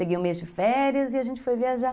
Peguei um mês de férias e a gente foi viajar.